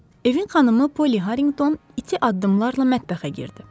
Evin xanımı Polly Harrington iti addımlarla mətbəxə girdi.